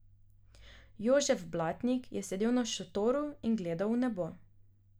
Jožef Blatnik je sedel na štoru in gledal v nebo.